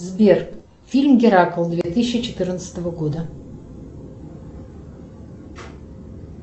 сбер фильм геракл две тысячи четырнадцатого года